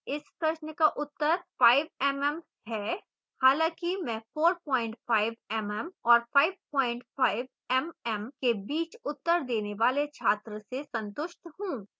इस प्रश्न का उत्तर 5mm है